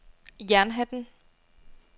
Jernhatten